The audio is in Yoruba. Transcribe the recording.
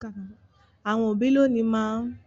Àwon òbí lònìí má n